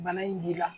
Bana in b'i la